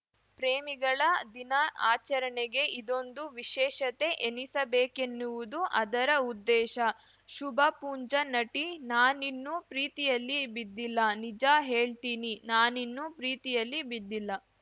ಪ್ರೇಮಿಗಳ ದಿನ ಆಚರಣೆಗೆ ಇದೊಂದು ವಿಶೇಷತೆ ಎನಿಸಬೇಕೆನ್ನುವುದು ಅದರ ಉದ್ದೇಶ ಶುಭಾ ಪುಂಜಾ ನಟಿ ನಾನಿನ್ನೂ ಪ್ರೀತಿಯಲ್ಲಿ ಬಿದ್ದಿಲ್ಲ ನಿಜ ಹೇಳ್ತೀನಿ ನಾನಿನ್ನು ಪ್ರೀತಿಯಲ್ಲಿ ಬಿದ್ದಿಲ್ಲ